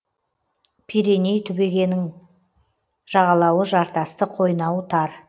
пиреней түбегінің жағалауы жартасты қойнауы тар